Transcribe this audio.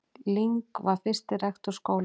Ling var fyrsti rektor skólans.